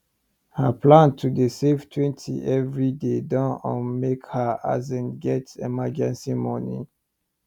her plan to dey save twenty everyday don um make her asin get emergency money